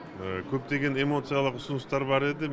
көптеген эмоциялық ұсыныстар бар еді